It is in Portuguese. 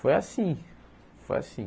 Foi assim, foi assim.